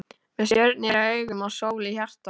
Með stjörnur í augum og sól í hjarta.